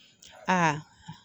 A